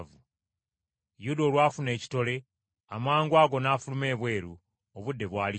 Yuda olwafuna ekitole, amangwago n’afuluma ebweru; obudde bwali kiro.